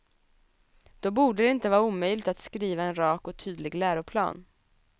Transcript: Då borde det inte vara omöjligt att skriva en rak och tydlig läroplan.